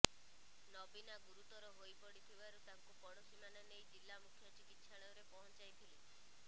ନବୀନା ଗୁରୁତର ହୋଇପଡ଼ିବାରୁ ତାଙ୍କୁ ପଡ଼ୋଶୀମାନେ ନେଇ ଜିଲ୍ଲା ମୁଖ୍ୟ ଚିକିତ୍ସାଳୟରେ ପହଞ୍ଚାଇଥିଲେ